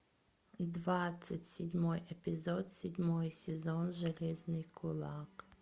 двадцать седьмой эпизод седьмой сезон железный кулак